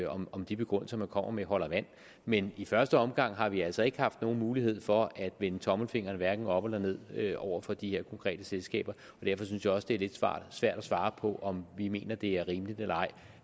om om de begrundelser man kommer med holder vand men i første omgang har vi altså ikke haft nogen mulighed for at vende tommelfingeren op eller ned over for de her konkrete selskaber og derfor synes jeg også det er lidt svært at svare på om vi mener det er rimeligt eller ej